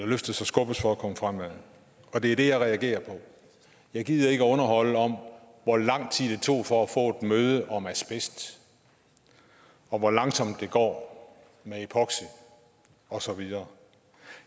løftes og skubbes for at komme fremad og det er det jeg reagerer på jeg gider ikke at underholde om hvor lang tid det tog for at få et møde om asbest og hvor langsomt det går med epoxy og så videre